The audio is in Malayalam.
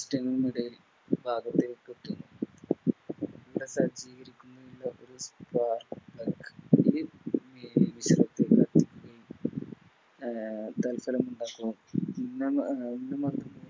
ടെ ഭാഗത്തേക്ക് എത്തുന്നു